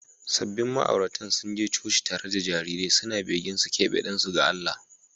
Sabbin ma’auratan sun je coci tare da jarirai suna begen su keɓe ɗansu ga Allah.